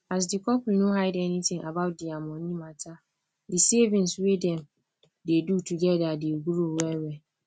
as the couple no hide anything about their money mata the savings wey dem dey do together dey grow wellwell